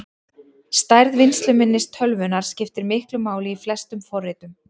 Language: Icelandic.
Stærð vinnsluminnis tölvunnar skiptir miklu máli í flestum forritum.